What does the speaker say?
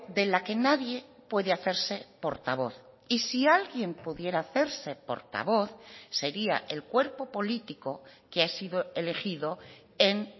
de la que nadie puede hacerse portavoz y si alguien pudiera hacerse portavoz sería el cuerpo político que ha sido elegido en